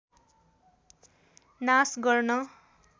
नाश गर्न